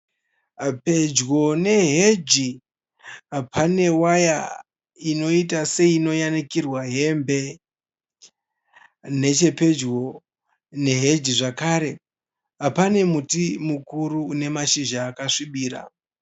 Pedyo neheji pane waya inoita seinoyanikirwa hembe. Nechepedyo neheji zvekare pane miti inemashizha akasvibira.